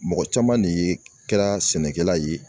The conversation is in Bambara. Mɔgɔ caman de ye kɛra sɛnɛkɛla ye